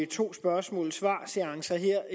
to spørgsmål svar seancer her